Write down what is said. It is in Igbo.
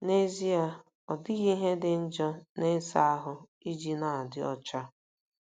N'ezie, ọ dịghị ihe dị njọ n'ịsa ahụ iji na-adị ọcha.